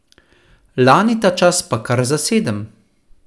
Lani ta čas pa kar za sedem.